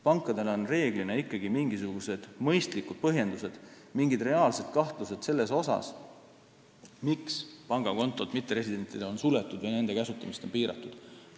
Pankadel on enamasti ikkagi mingisugused mõistlikud põhjendused, mingid reaalsed kahtlused, miks on mitteresidentide pangakontod suletud või nende kasutamist piiratud.